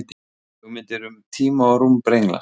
Hugmyndir um tíma og rúm brenglast.